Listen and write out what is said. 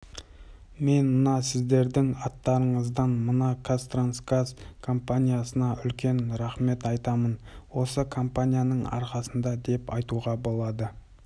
мен мына сіздердің аттарыңыздан мына қазтрансгаз компаниясына үлкен рахмет айтамын осы компанияның арқасында деп айтуға болады